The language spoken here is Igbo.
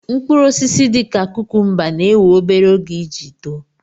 Mkpụrụ osisi dị ka kukumba na-éwè obere oge iji too